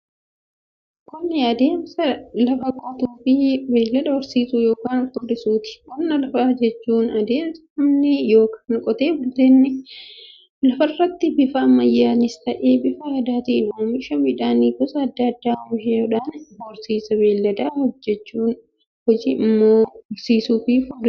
Qonni adeemsa lafa qotuufi beeylada horsiisuu yookiin furdisuuti. Qonna lafaa jechuun adeemsa namoonni yookiin qotee otee bultoonni lafarraatti bifa ammayyanis ta'ee, bifa aadaatiin oomisha midhaan gosa adda addaa oomishaniidha. Horsiisa beeyladaa jechuun immoo loon horsiisuufi furdisuudha.